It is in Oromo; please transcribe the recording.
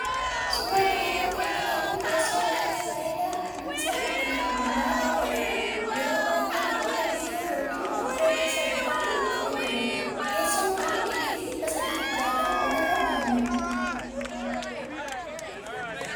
Suuraa kana irratti kana agarru teessoo baayyee bareedaa halluun isaa magaala yoo ta'u yeroo baayyee namoota biiroo yookin waajjira keessa hojjetantu itti fayyadama. Teessoon kun digirii 360⁰ of irra naanna'a.